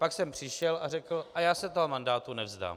Pak sem přišel a řekl: a já se toho mandátu nevzdám.